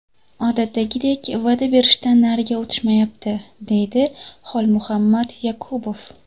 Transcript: Odatdagidek va’da berishdan nariga o‘tishmayapti”, deydi Xolmuhammad Yakubov.